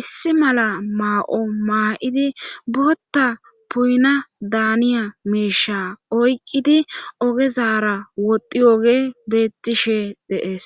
issi mala maa7o maa7idi botta puuyna daaniya miisha oyqqidi ogezara woddi oge beettishe dees.